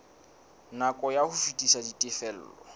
nako ya ho fetisa ditifelo